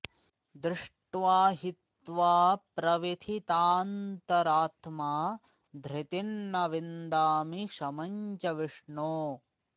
दृष्ट्वा हि त्वा प्रव्यथितान्तरात्मा धृतिं न विन्दामि शमं च विष्णो